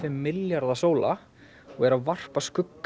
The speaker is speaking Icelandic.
milljarða sóla og er að varpa skugga